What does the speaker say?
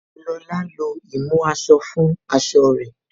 Lóla lo ìmú aṣọ fún aṣọ rẹ̀